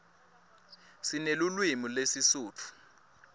sinelulwimi lesisutfu